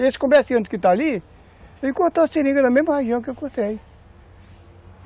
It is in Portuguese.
Esse comerciante que está ali, ele cortou seringa na mesma região que eu cortei.